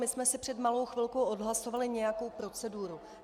My jsme si před malou chvilkou odhlasovali nějakou proceduru.